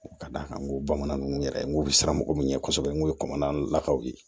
Ka d'a kan n ko bamanan ninnu yɛrɛ n'u bɛ siran mɔgɔw min ɲɛ kosɛbɛ n kun ye bamanan lakaw ye